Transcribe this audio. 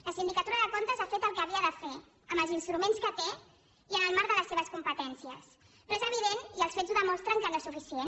la sindicatura de comptes ha fet el que havia de fer amb els instruments que té i en el marc de les seves competències però és evident i els fets ho demostren que no és suficient